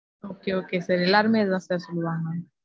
Okay, okay sir எல்லாருமே அத தான் sir சொல்லுவாங்க.